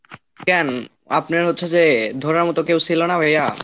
কেন, আপনার হচ্ছে যে ধরার মতো কেউ ছিল না ভাইয়া?